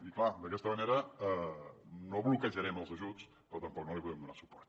i clar d’aquesta manera no bloquejarem els ajuts però tampoc no li podem donar suport